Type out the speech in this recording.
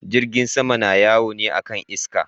Jirgin sama na yawo ne akan iska.